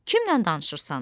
Kimlə danışırsan?